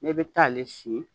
Ne bɛ taa ale si